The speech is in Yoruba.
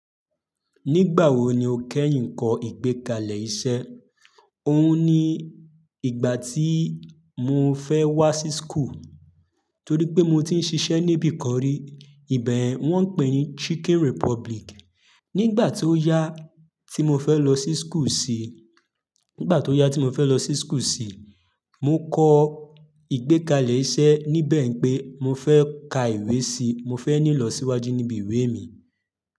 Nígbà wo ni o kẹ́yìn kọ́ ìgbẹ́kalẹ̀ iṣẹ́? Ohun ni ìgbà tí mo fẹ́ wá sí school, torí pé mo ti ń ṣiṣẹ́ níbi kan rí, ìbẹ̀ yen wọ́n ń pè ní Chicken Republic. Nígbà tó yá tí mo fẹ́ lọ sí school sí, nígbà tó yá tí mo fẹ́ lọ sí school sí, mo kọ ìgbẹ́kalẹ̀ iṣẹ́ níbẹ̀ pé mo fẹ́ ka ìwé sí, mo fẹ́ ní ìlọsíwájú níbi ìwé mi.